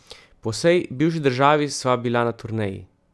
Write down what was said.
Po vsej bivši državi sva bila na turneji.